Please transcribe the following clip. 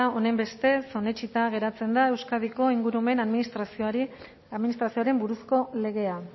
honenbestez onetsita geratzen da euskadiko ingurumen administrazioaren buruzko legea